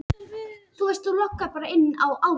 Það er fínt að vinna þetta.